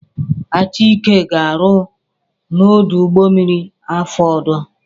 Achike ga-arụ n'ọdụ ụgbọmmiri afọ ọzọ.